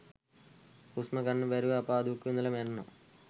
හුස්ම ගන්න බැරිව අපා දුකක් විඳලා මැරෙනවා